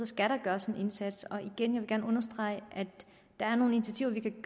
skal der gøres en indsats og igen vil jeg gerne understrege at der er nogle initiativer vi kan